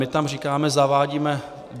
My tam říkáme, zavádíme...